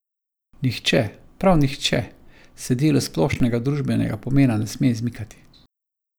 Nihče, prav nihče, se delu splošnega družbenega pomena ne sme izmikati.